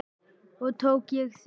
Og tók ég því.